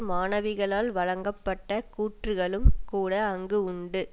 மாணவிகளால் வழங்கப்பட்ட கூற்றுக்களும் கூட அங்கு உண்டு